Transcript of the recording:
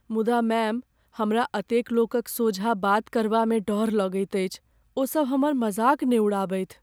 मुदा मैम, हमरा एतेक लोकक सोझाँ बात करबामे डर लगैत अछि। ओ सभ हमर मजाक ने उड़ाबथि।